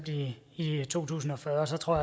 i i to tusind og fyrre så tror